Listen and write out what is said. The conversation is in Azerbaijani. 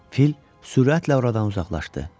Fil sürətlə oradan uzaqlaşdı.